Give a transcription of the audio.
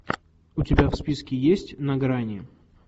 у тебя в списке есть на грани